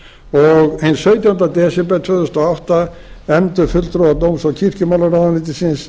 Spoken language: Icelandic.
og hinn sautjánda desember tvö þúsund og átta efndu fulltrúar dóms og kirkjumálaráðuneytisins